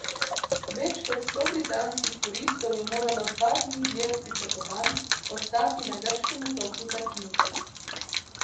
Več kot sto britanskih turistov je moralo dva dni dlje od pričakovanj ostati na grškem otoku Zakintos.